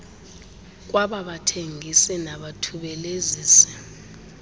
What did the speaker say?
kwaba bathengisi nabathubelezisi